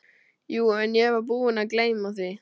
Jú, en ég var búinn að gleyma því.